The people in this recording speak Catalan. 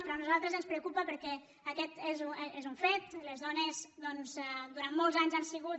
però a nosaltres ens preocupa per·què aquest és un fet les dones durant molts anys han sigut